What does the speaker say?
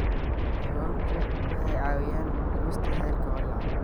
Xayawaanku waxay caawiyaan dhimista heerarka walaaca.